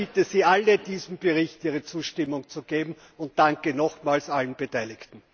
Ich bitte Sie alle, diesem Bericht Ihre Zustimmung zu geben, und danke nochmals allen Beteiligten!